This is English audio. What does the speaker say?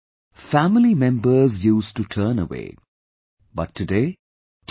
, family members used to turn away, but today T